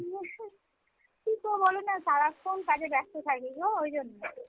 উহ কী করব বলনা সারাক্ষণ কাজে ব্যস্ত থাকিগো ঐ জন্য।